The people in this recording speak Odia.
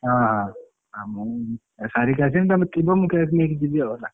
ହଁ ହଁ ଆଉ ମୁଁ ସାରିକି ଆସିବି ତମେ ଥିବ ମୁଁ cake ନେଇକି ଜୀବି ଆଉ।